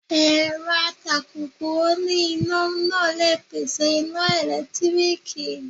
Èrọ atakùkù oní iná náà le pèsè iná ẹ̀lẹ́tíríkì.